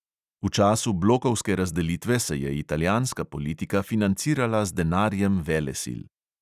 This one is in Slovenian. V času blokovske razdelitve se je italijanska politika financirala z denarjem velesil.